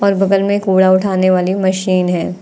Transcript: और बगल में कूड़ा उठाने वाली मशीन है।